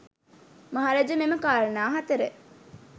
මහරජ මෙම කාරණා හතර